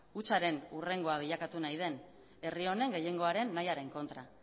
hutsaren hurrengoa bilakatu nahi den herri honen gehiengoaren nahiaren kontra